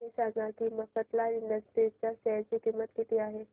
हे सांगा की मफतलाल इंडस्ट्रीज च्या शेअर ची किंमत किती आहे